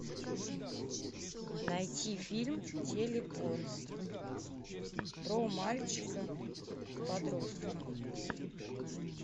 найти фильм телепорт про мальчика подростка